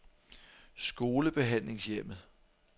Skolebehandlingshjemmet